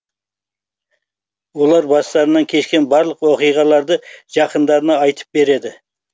олар бастарынан кешкен барлық оқиғаларды жақындарына айтып береді